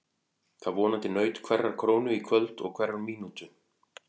Það vonandi naut hverrar krónu í kvöld og hverrar mínútu.